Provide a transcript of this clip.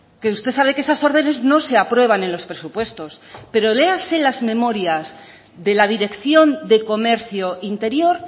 que usted sabe que esas órdenes no se aprueban en los presupuestos pero léase las memorias de la dirección de comercio interior